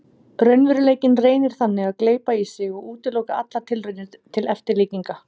Raunveruleikinn reynir þannig að gleypa í sig og útiloka allar tilraunir til eftirlíkinga.